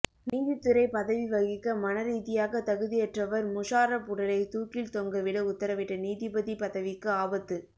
நீதித்துறை பதவி வகிக்க மனரீதியாக தகுதியற்றவர் முஷாரப் உடலை தூக்கில் தொங்க விட உத்தரவிட்ட நீதிபதி பதவிக்கு ஆபத்து